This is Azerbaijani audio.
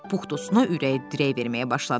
Pux dostuna ürək dirək verməyə başladı.